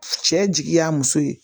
Cɛ jigi y'a muso ye